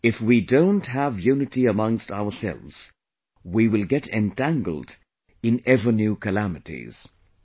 If we don't have unity amongst ourselves, we will get entangled in ever new calamities"